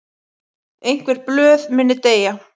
Einhver blöð muni deyja